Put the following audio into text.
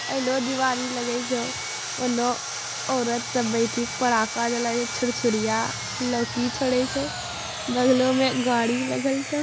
एलो दिवाली लगई छो ओनो औरत सब बैठी के पड़ाका जलाई छुरछुरिया लोकी छोड़ई छो बगलों में गाड़ी लगल छो।